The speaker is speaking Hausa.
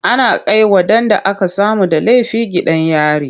Ana kai waɗanda aka samu da laifi gidan yari.